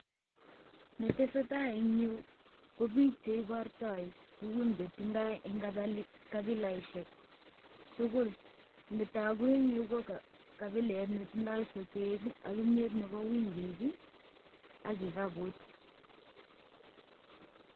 Ne tesetai en yu ko biik che ibortoi tugun che tindoi en kabilaishek tugul. Nitogu en yu ko kabilet ne tindoi sotet ak kimyet nebo wimbi ak kikabut.